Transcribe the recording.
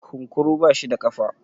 kunkuru bashi da kafa?